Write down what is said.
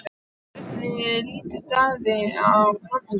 En hvernig lítur Davíð á framhaldið?